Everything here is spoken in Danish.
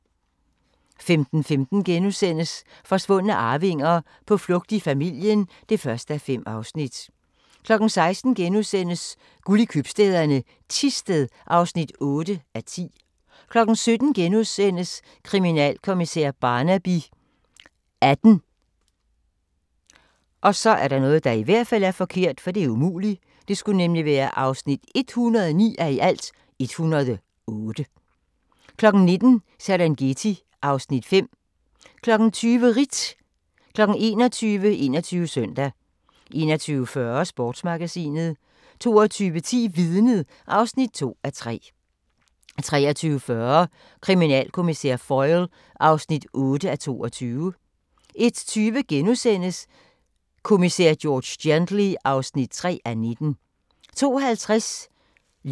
15:15: Forsvundne arvinger: På flugt fra familien (1:5)* 16:00: Guld i købstæderne - Thisted (8:10)* 17:00: Kriminalkommissær Barnaby XVIII (109:108)* 19:00: Serengeti (Afs. 5) 20:00: Ritt 21:00: 21 Søndag 21:40: Sportsmagasinet 22:10: Vidnet (2:3) 23:40: Kriminalkommissær Foyle (8:22) 01:20: Kommissær George Gently (3:19)*